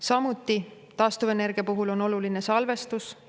Samuti on taastuvenergia puhul oluline salvestus.